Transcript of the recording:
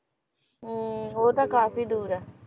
ਹੁੰ ਉਹ ਤਾਂ ਕਾਫੀ ਦੂਰ ਐ